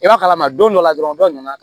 I b'a kalama don dɔ la dɔrɔn dɔ nana